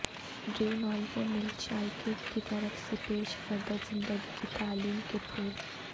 ڈریونالوو میلچائیکیک کی طرف سے پیش کردہ زندگی کی تعلیم کے پھول